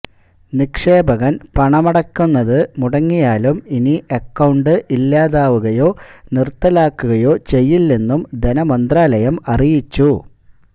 നിക്ഷേപകന് പണമടക്കുന്നത് മുടങ്ങിയാലും ഇനി അക്കൌണ്ട് ഇല്ലാതാവുകയോ നിര്ത്തലാക്കുകയോ ചെയ്യില്ളെന്നും ധനമന്ത്രാലയം അറിയിച്ചു